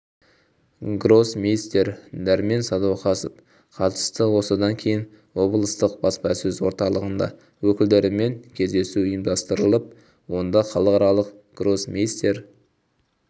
гроссмейстер дәрмен сәдуақасов қатысты осыдан кейін облыстық баспасөз орталығында өкілдерімен кездесу ұйымдастырылып онда халықаралық гроссмейстер